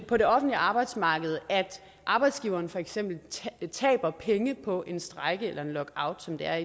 på det offentlige arbejdsmarked at arbejdsgiverne for eksempel taber penge på en strejke eller en lockout som det er